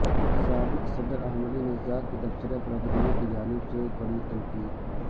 سابق صدر Ahmadinejad کے تبصرہ پر عدلیہ کی جانب سے کڑی تنقید